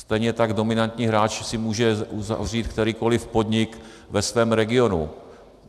Stejně tak dominantní hráč si může uzavřít kterýkoliv podnik ve svém regionu.